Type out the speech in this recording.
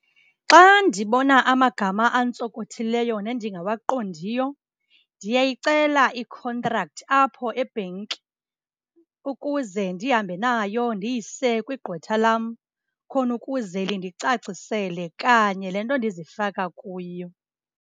Xa ndibona amagama antsokothileyo nendingawaqondiyo, ndiyayicela i-contract apho ebhenki ukuze ndihambe nayo ndiyise kwigqwetha lam khona ukuze lindicacisele kanye le nto ndizifaka kuyo.